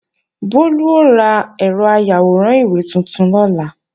Bólú ó ra ẹ̀rọ ayàwòrán ìwé tuntun lọ́la